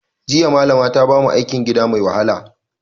Jiya Malama ta bamu aikin gida mai wahala